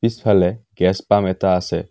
পিছফালে গেছ পাম্প এটা আছে।